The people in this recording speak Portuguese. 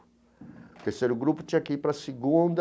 O terceiro grupo tinha que ir para a segunda,